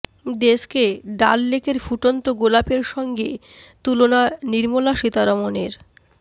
দেশকে ডাল লেকের ফুটন্ত গোলাপের সঙ্গে তুলনা নির্মলা সীতারমনের